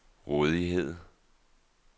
rådighed